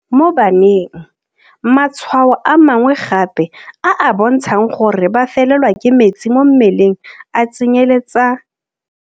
Mo baneng, matshwao a mangwe gape a a bontshang gore ba felelwa ke metsi mo mmeleng a tsenyeletsa.